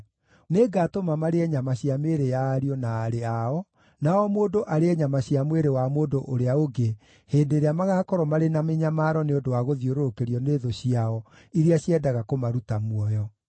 Nĩngatũma marĩe nyama cia mĩĩrĩ ya ariũ na aarĩ ao, na o mũndũ arĩe nyama cia mwĩrĩ wa mũndũ ũrĩa ũngĩ hĩndĩ ĩrĩa magaakorwo marĩ na mĩnyamaro nĩ ũndũ wa gũthiũrũrũkĩrio nĩ thũ ciao iria ciendaga kũmaruta muoyo.’